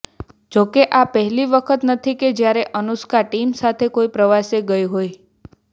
જોકે આ પહેલી વખત નથી કે જ્યારે અનુષ્કા ટીમ સાથે કોઈ પ્રવાસે ગઈ હોય